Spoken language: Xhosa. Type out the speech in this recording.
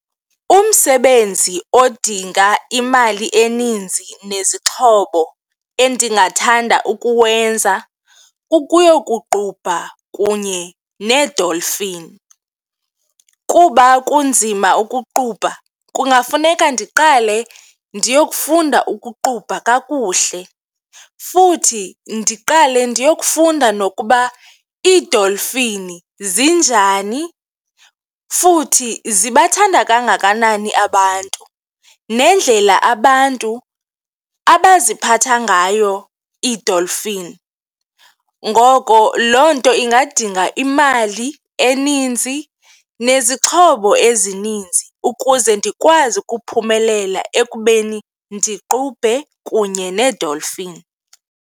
Umsebenzi odinga imali eninzi nezixhobo endingathanda ukuwenza kukuyokuqubha kunye needolfini kuba kunzima ukuqubha kungafuneka ndiqale ndiyokufunda ukuqubha kakuhle. Futhi ndiqale ndiyokufunda nokuba iidolfini zinjani futhi ziyathanda kangakanani abantu nendlela abantu abaziphatha ngayo iidonlfini. Ngoko loo nto ingadinga imali eninzi nezixhobo ezininzi ukuze ndikwazi ukuphumelela ekubeni ndiqubhe kunye needolfini.